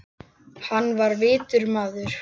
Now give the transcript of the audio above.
Hann var vitur maður.